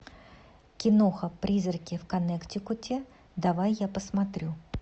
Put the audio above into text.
киноха призраки в коннектикуте давай я посмотрю